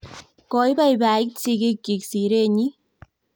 koiboiboit sigikchich sire nyin